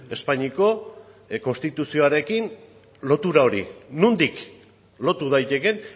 espainiako konstituzioarekin lotura hori nondik lotu daitekeen